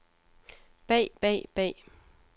bag bag bag